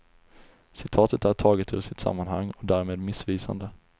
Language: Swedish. Citatet är taget ur sitt sammanhang och därmed missvisande.